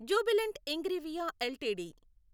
Jubilant Ingrevia LTD